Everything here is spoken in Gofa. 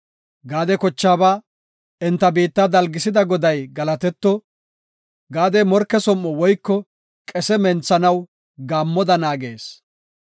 Gaade kochaaba, “Enta biitta dalgisida Goday galatetto; Gaadi morke som7o woyko qese menthanaw, gaammoda naagees.